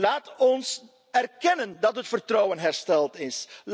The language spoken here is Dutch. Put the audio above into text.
Laten we erkennen dat het vertrouwen hersteld